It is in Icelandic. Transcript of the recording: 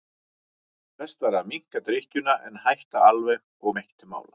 Best væri að minnka drykkjuna en að hætta alveg kom ekki til mála.